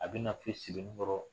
A bi na fo sebenin kɔrɔ